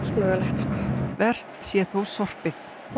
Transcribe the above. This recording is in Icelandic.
mögulegt verst sé þó sorpið